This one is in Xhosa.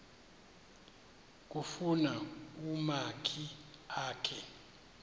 kufuna umakhi akhe